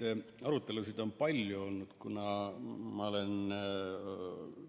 Neid arutelusid on palju olnud, kuna ma olen